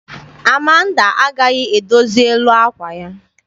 Amanda agaghị edozi elu àkwà ya.